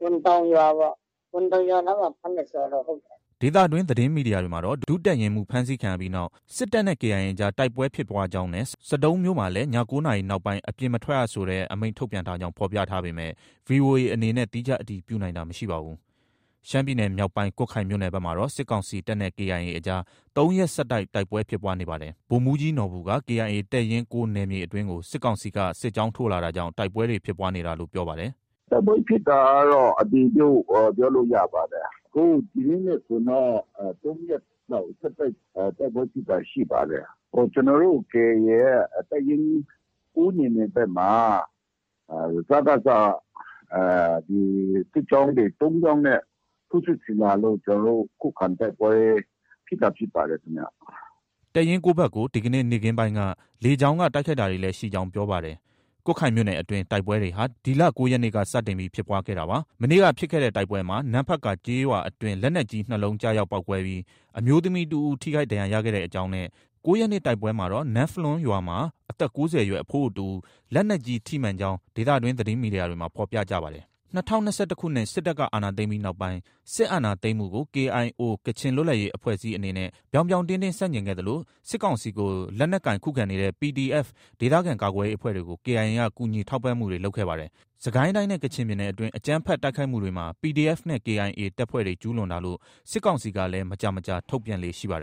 ဘွမ်တောင်ရွာနားမှာ ဖမ်းတယ်ဆိုတာတော့ ဟုတ်တယ်။ ” ဒေသတွင်းသတင်းမီဒီယာတွေမှာတော့ ဒုတပ်ရင်းမှူး ဖမ်းဆီးခံရပြီးနောက် စစ်တပ်နဲ့ KIA အကြား တိုက်ပွဲဖြစ်ပွားကြောင်းနဲ့ ဆဒုံးမြို့မှာလည်း ည၉နာရီနောက်ပိုင်း အပြင်မထွက်ရတဲ့ ဆိုတဲ့ အမိန့်ထုတ်ပြန်ထားကြောင်း ဖော်ပြထားပေမယ့် ဗွီအိုအေအနေနဲ့ သီးခြား အတည်ပြုနိုင်တာ မရှိပါဘူး။ ရှမ်းပြည်နယ်မြောက်ပိုင်း ကွတ်ခိုင်မြို့နယ်ဘက်မှာတော့ စစ်ကောင်စီတပ်နဲ့ KIA အကြားမှာ ၃ရက်ဆက်တိုက် တိုက်ပွဲဖြစ်ပွားနေပါတယ်။ ဗိုလ်မှူးကြီးနော်ဘူက KIA တပ်ရင်း၉နယ်မြေအတွင်းကို စစ်ကောင်စီက စစ်ကြောင်းထိုးလာတာကြောင့် တိုက်ပွဲတွေဖြစ်ပွားနေတာလို့ ပြောပါတယ်။ “ တိုက်ပွဲဖြစ်တာကတော့ အတည်ပြု ပြောလို့ ရပါတယ်။ အခု ဒီနေ့နဲ့ဆိုရင်တော့ ၃ရက် ဆက်တိုက် တိုက်ပွဲဖြစ်တာ ရှိပါတယ်။ ကျနော်တို့ KIA ရဲ့ တပ်ရင်း ၉နယ်မြေဘက်မှာ စကစက စစ်ကြောင်းတွေ ၃ကြောင်းနဲ့ ထိုးစစ်ဆင်လာလို့ ကျနော်တို့ ခုခံတိုက်ပွဲ ဖြစ်တာဖြစ်ပါတယ်ခင်ဗျ။ ” တပ်ရင်း ၉ဘက်ကို ဒီကနေ့ နေ့ခင်းပိုင်းက လေကြောင်းက တိုက်ခိုက်တာတွေလည်းရှိကြောင်း ပြောပါတယ်။ ကွတ်ခိုင်မြို့နယ်အတွင်း တိုက်ပွဲတွေဟာ ဒီလ ၉ရက်နေ့က စတင်ပြီးဖြစ်ပွားခဲ့တာပါ။ မနေ့က ဖြစ်တဲ့တိုက်ပွဲမှာ နမ့်ဖတ်ကာကျေးရွာအတွင်း လက်နက်ကြီး ၂လုံးကျရောက်ပေါက်ကွဲပြီး အမျိုးသမီးတစ်ဦး ထိခိုက်ဒဏ်ရာရခဲ့ကြောင်းနဲ့ ၉ရက်နေ့ တိုက်ပွဲမှာတော့ နမ့်ဖလွန်းရွာမှာ အသက်၉၀အရွယ် အဖိုးအိုတစ်ဦး လက်နက်ကြီးထိမှန်ကြောင်း ဒေသတွင်း သတင်းမီဒီယာတွေမှာ ဖော်ပြကြပါတယ်။ ၂၀၂၁ စစ်တပ်က အာဏာသိမ်းပြီးနောက်ပိုင်း စစ်အာဏာသိမ်းမှုကို KIO ကချင်လွတ်လပ်ရေးအဖွဲ့အစည်းအနေနဲ့ ဗြောင်းဗြောင်းတင်းတင်းဆန့်ကျင်ခဲ့သလို စစ်ကောင်စီကို လက်နက်ကိုင်ခုခံကြတဲ့ PDF ဒေသကာကွယ်ရေးအဖွဲ့တွေကို KIA က ကူညီထောက်ပံ့မှုတွေလုပ်ခဲ့ပါတယ်။ စစ်ကိုင်းတိုင်းနဲ့ ကချင်ပြည်နယ်တွင်း အကြမ်းဖက်တိုက်ခိုက်မှုတွေမှာ PDF နဲ့ KIA တပ်ဖွဲ့တွေ ကျူးလွန်တာလို့ စစ်ကောင်စီကလည်း မကြာမကြာ ထုတ်ပြန်လေ့ရှိပါတယ်